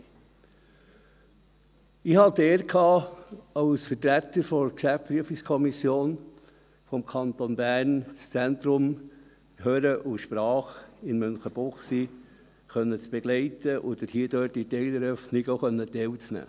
Ich hatte die Ehre, als Vertreter der GPK des Kantons Bern das HSM begleiten und an der Teileröffnung teilnehmen zu können.